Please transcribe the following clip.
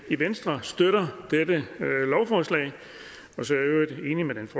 i venstre støtter dette lovforslag